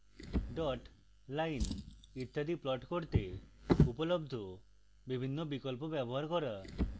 dots lines ইত্যাদি plot করতে উপলব্ধ বিভিন্ন বিকল্প ব্যবহার করা